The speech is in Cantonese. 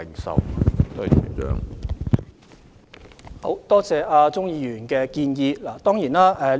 主席，感謝鍾議員的建議。